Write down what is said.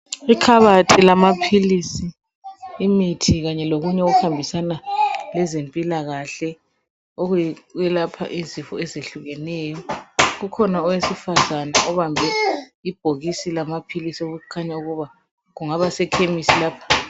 Ikhabathi lamaphilisi, imithi kanye lokunye okwelapha izifo ezitshiyeneyo. Ukhona obambe ibhokisi lamaphilisi, okukhanya kuba kungabasekhemisi lapha.